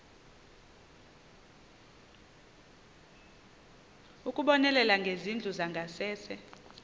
ukubonelela ngezindlu zangasese